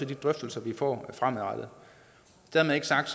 de drøftelser vi får fremadrettet dermed ikke sagt